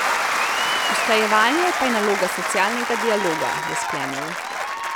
Usklajevanje pa je naloga socialnega dialoga, je sklenil.